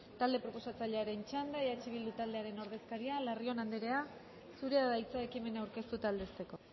talde proposatzailearen txanda eh bildu taldearen ordezkaria larrion andrea zurea da hitza ekimena aurkeztu eta aldezteko